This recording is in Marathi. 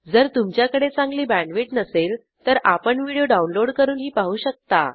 जर तुमच्याकडे चांगली बॅण्डविड्थ नसेल तर आपण व्हिडिओ डाउनलोड करूनही पाहू शकता